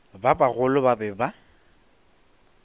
ba bagolo ba be ba